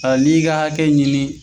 Ɔ n'i ka hakɛ ɲini.